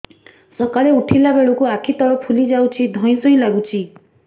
ସକାଳେ ଉଠିଲା ବେଳକୁ ଆଖି ତଳ ଫୁଲି ଯାଉଛି ଧଇଁ ସଇଁ ଲାଗୁଚି